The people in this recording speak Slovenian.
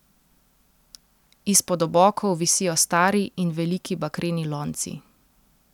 Izpod obokov visijo stari in veliki bakreni lonci.